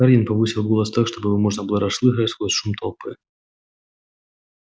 хардин повысил голос так чтобы его можно было расслышать сквозь шум толпы